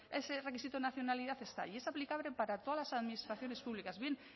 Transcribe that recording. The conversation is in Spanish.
ese requisito de nacionalidad está ahí y es aplicable para todas las administraciones públicas bien